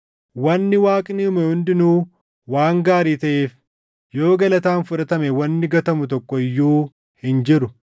Wanni Waaqni uume hundinuu waan gaarii taʼeef yoo galataan fudhatame wanni gatamu tokko iyyuu hin jiru;